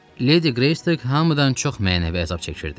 Ledi Qreytek hamıdan çox mənəvi əzab çəkirdi.